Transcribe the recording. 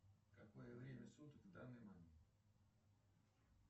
какое время суток в данный момент